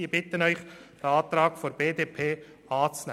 Ich bitte Sie, den Antrag der BDP anzunehmen.